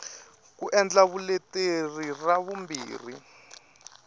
ku endla vuleteri ra vumbirhi